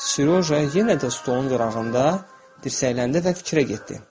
Sereja yenə də stolun qırağında dirsəkləndi və fikrə getdi.